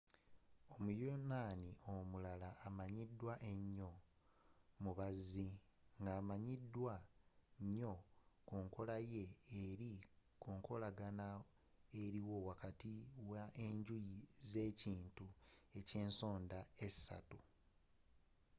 omuyonaani omulala amanyidwa enyoo mubazi ng'amanyidwa nyoo kunkola ye eri kunkolagana eriwo wakati wa enjuyi z'ekintu ekyensonda esatu